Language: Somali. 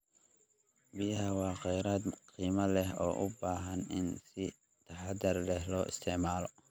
Biyaha waa kheyraad qiimo leh oo u baahan in si taxadar leh loo isticmaalo.